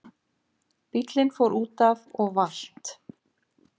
Bíllinn fór útaf og valt